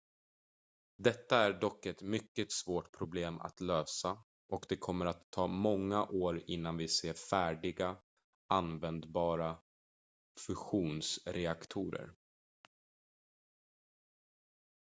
detta är dock ett mycket svårt problem att lösa och det kommer att ta många år innan vi ser färdiga användbara fusionsreaktorer